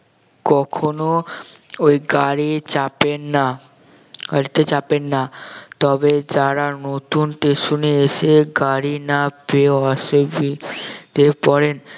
কখনো ওই গাড়ি চাপেন না গাড়িতে চাপেন না তবে যারা নতুন station এ এসে গাড়ি না পেয়েও আসে যেই পড়েন